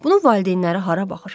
Bunu valideynləri hara baxır?